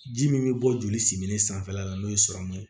Ji min bɛ bɔ joli similen sanfɛ la n'o ye ye